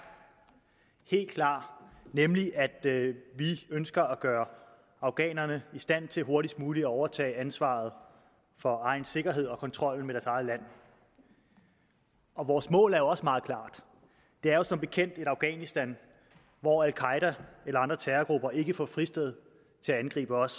helt klar nemlig at vi ønsker at gøre afghanerne i stand til hurtigst muligt at overtage ansvaret for egen sikkerhed og kontrollen med eget land og vores mål er jo også meget klart det er som bekendt et afghanistan hvor al qaeda eller andre terrorgrupper ikke får et fristed til at angribe os